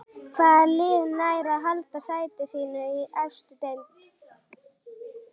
Hvaða lið nær að halda sæti sínu í efstu deild?